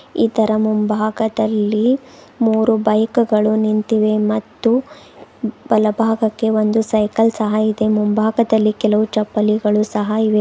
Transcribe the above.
ಇದರ ಮುಂಭಾಗದಲ್ಲಿ ಮೂರು ಬೈಕ್ ಗಳು ನಿಂತಿವೆ ಮತ್ತು ಬಲಭಾಗಕ್ಕೆ ಒಂದು ಸೈಕಲ್ ಸಹ ಇದೆ ಮುಂಭಾಗದಲ್ಲಿ ಕೆಲವು ಚಪ್ಪಲಿಗಳು ಸಹ ಇವೆ.